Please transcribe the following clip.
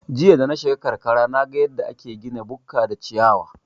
Jiya danashiga karkara naga yadda ake gina bukka da ciyawa